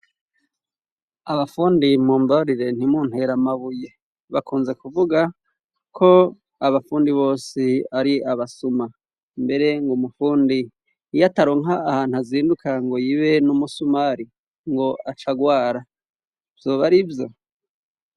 Abafundi mumbarire ntimuntere amabuye. Bakunze kuvuga ko abafundi bose ari abasuma. Mbere ngo umufundi iyo ataronka ahantu azinduka ngo yibe n'umusumari ngo aca agwara. Vyoba arivyo?